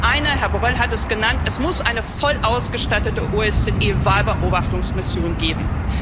Das eine, Herr Borrell hat es genannt Es muss eine voll ausgestattete OSZE Wahlbeobachtungsmission geben.